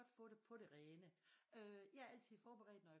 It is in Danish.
Godt få det på det rene jeg er altid forberedt når jeg